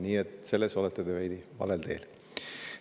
Nii et siin olete te veidi valel teel.